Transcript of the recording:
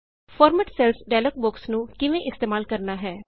format cells dialog box ਨੂੰ ਕਿਵੇਂ ਇਸਤੇਮਾਲ ਕਰਨਾ ਹੈ